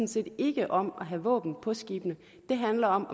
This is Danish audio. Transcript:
set ikke om at have våben på skibene det handler om